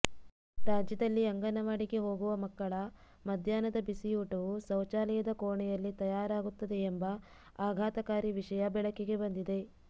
ರಾಜ್ಯದಲ್ಲಿ ಅಂಗನವಾಡಿಗೆ ಹೋಗುವ ಮಕ್ಕಳ ಮಧ್ಯಾಹ್ನದ ಬಿಸಿಯೂಟವು ಶೌಚಾಲಯದ ಕೋಣೆಯಲ್ಲಿ ತಯಾರಾಗುತ್ತದೆ ಎಂಬ ಆಘಾತಕಾರಿ ವಿಷಯ ಬೆಳಕಿಗೆ ಬಂದಿದೆ